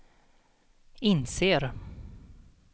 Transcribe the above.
inser